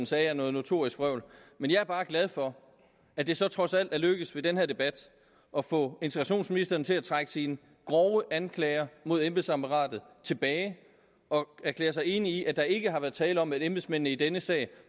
sagde er noget notorisk vrøvl men jeg er bare glad for at det så trods alt er lykkedes i den her debat at få integrationsministeren til at trække sine grove anklager mod embedsapparatet tilbage og erklære sig enig i at der ikke har været tale om at embedsmændene i denne sag